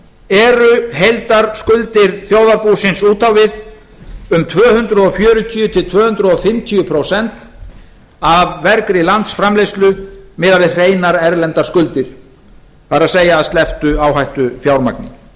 eru heildarskuldir þjóðarbúsins út á við um tvö hundruð fjörutíu til tvö hundruð fimmtíu prósent af vergri landsframleiðslu miðað við hreinar erlendar skuldir það er að slepptu áhættufjármagni sveiflur